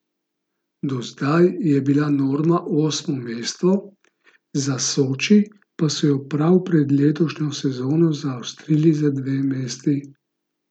Do zdaj je bila norma osmo mesto, za Soči so jo prav pred letošnjo sezono zaostrili za dve mesti.